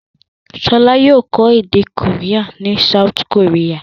Ṣọlá yóò kọ́ èdè Korea ní South Korea.